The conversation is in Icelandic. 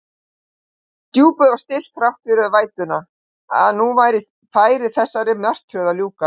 Djúpið var stillt þrátt fyrir vætuna, að nú færi þessari martröð að ljúka.